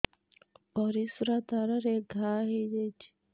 ପରିଶ୍ରା ଦ୍ୱାର ରେ ଘା ହେଇଯାଇଛି